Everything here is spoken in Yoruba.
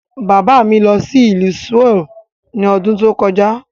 Bàbá mi lọ sí ìlú Souel ní ọdún tó kọjá.